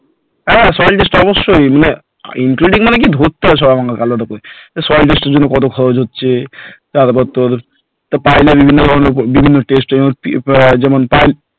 হ্যাঁ Soil test অবশ্যই মানে including মানে কি ধরতে হয় সব এবং আলাদা করে soil test এর জন্য কত খরচ হচ্ছে? তারপর তোর pile এর বিভিন্ন ধরণের এর যেমন pipe